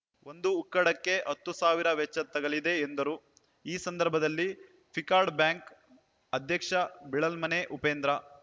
ಒಂದು ಉಕ್ಕಡಕ್ಕೆ ಹತ್ತು ಸಾವಿರ ವೆಚ್ಚ ತಗಲಿದೆ ಎಂದರು ಈ ಸಂದರ್ಭದಲ್ಲಿ ಪಿಕಾರ್ಡ್‌ ಬ್ಯಾಂಕ್‌ ಅಧ್ಯಕ್ಷ ಬಿಳಲ್‌ಮನೆ ಉಪೇಂದ್ರ